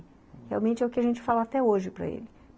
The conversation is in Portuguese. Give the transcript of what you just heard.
Realmente é o que a gente fala até hoje para ele.